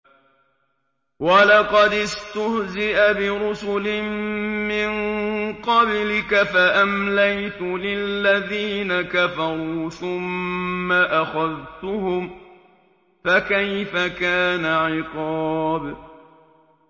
وَلَقَدِ اسْتُهْزِئَ بِرُسُلٍ مِّن قَبْلِكَ فَأَمْلَيْتُ لِلَّذِينَ كَفَرُوا ثُمَّ أَخَذْتُهُمْ ۖ فَكَيْفَ كَانَ عِقَابِ